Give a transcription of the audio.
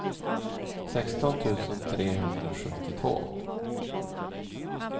sexton tusen trehundrasjuttiotvå